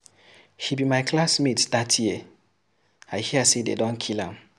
He be my classmate dat year, I hear say dey don kill am.